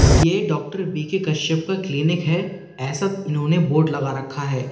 ये doctor B K Kashyap का clinic है ऐसा इन्होंने बोर्ड लगा रखा है।